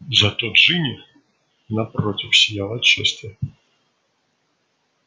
зато джинни напротив сияла от счастья